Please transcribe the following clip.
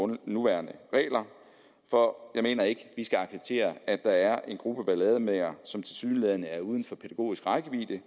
nuværende regler for jeg mener ikke at vi skal acceptere at der er en gruppe ballademagere som tilsyneladende er uden for pædagogisk rækkevidde